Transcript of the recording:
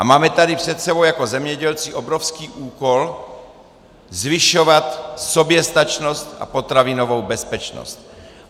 A máme tady před sebou jako zemědělci obrovský úkol zvyšovat soběstačnost a potravinovou bezpečnost.